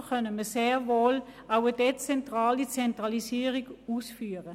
Also können wir sehr wohl auch eine dezentrale Zentralisierung umsetzen.